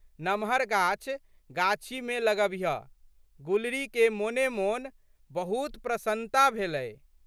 नमहर गाछ गाछीमे लगबिहऽ। गुलरीके मोनेमोन बहुत प्रशन्नता भेलै।